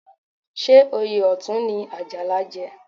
Ṣé oyè Ọ̀tún ni Àjàlá jẹ?